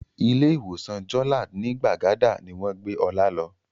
Ilé ìwòsàn Jolad ní Gbàgádà ni wọ́n gbé Ọlá lọ